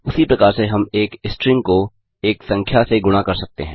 उसी प्रकार से हम एक स्ट्रिंग को एक संख्या से गुणा कर सकते हैं